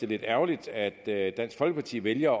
lidt ærgerligt at dansk folkeparti vælger